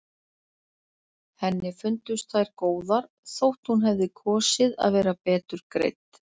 Henni fundust þær góðar þótt hún hefði kosið að vera betur greidd.